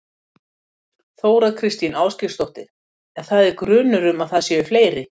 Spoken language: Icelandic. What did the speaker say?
Þóra Kristín Ásgeirsdóttir: En það er grunur um að það séu fleiri?